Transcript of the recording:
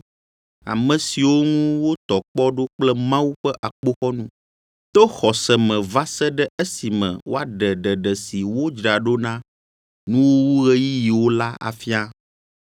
ame siwo ŋu wotɔ kpɔ ɖo kple Mawu ƒe akpoxɔnu, to xɔse me va se ɖe esime woaɖe ɖeɖe si wodzra ɖo na nuwuwuɣeyiɣiwo la afia.